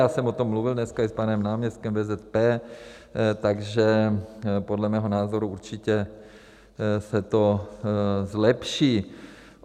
Já jsem o tom mluvil dneska i s panem náměstkem VZP, takže podle mého názoru určitě se to zlepší.